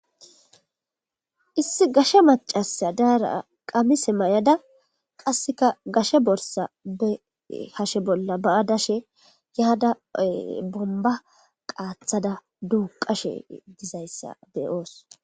Issi gaashe macasa daara qamise may'ada qasseka gashe borssa hashshe bolla ba'a dashe yaada bomba qaathada duuqashe dizayssa beyoos